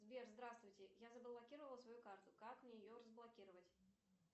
сбер здравствуйте я заблокировала свою карту как мне ее разблокировать